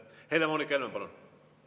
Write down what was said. Helle-Moonika Helme, palun!